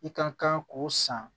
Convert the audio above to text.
I ka kan k'o san